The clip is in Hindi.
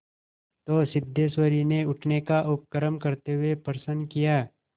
तो सिद्धेश्वरी ने उठने का उपक्रम करते हुए प्रश्न किया